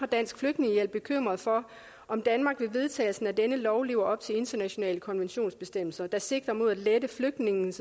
dansk flygtningehjælp bekymret for om danmark med vedtagelsen af denne lov lever op til internationale konventionsbestemmelser der sigter mod at lette flygtninges